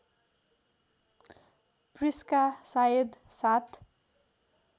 Prisca सायद सात